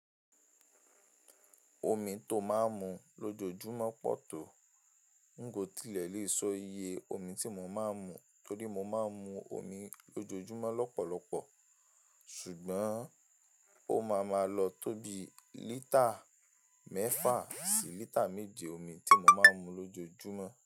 Omi tó máa ń mu lójoójúmọ́ pọ̀ tó. Nko tílẹ̀ lè so iye omi tí mo máa ń mu torí mo máa ń mu omi lójoójúmọ́ lọ́pọ̀lọpọ̀ ṣùgbọ́n ó máa máa lọ tóbi lítà mẹ́fà sí lítà méje omi tí mo máa ń mu lójoójúmọ́